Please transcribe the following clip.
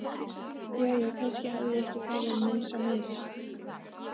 Jæja, kannski hafði ég ekki farið neins á mis.